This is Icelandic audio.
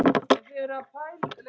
Hann átti alltaf flotta bíla.